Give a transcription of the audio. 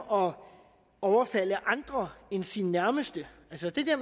om overfald af andre end sine nærmeste altså det